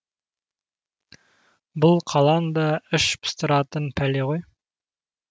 бұл қалаң да іш пыстыратын пәле ғой